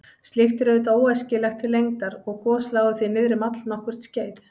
Slíkt er auðvitað óæskilegt til lengdar og gos lágu því niðri um allnokkurt skeið.